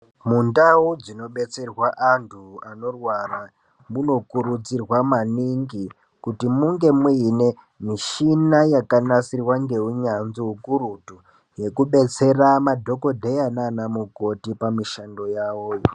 Mundau dzino detserwa antu anorwara muno kurudzirwa maningi kuti munge muine mishina yaka nasirwa nge unyanzvi ukurutu yeku detsera madhokodheya nana mukoti pa mushando yavoyo.